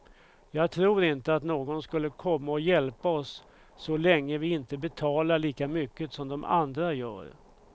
Jag tror inte att någon skulle komma och hjälpa oss så länge vi inte betalar lika mycket som de andra gör.